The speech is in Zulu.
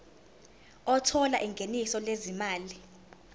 othola ingeniso lezimali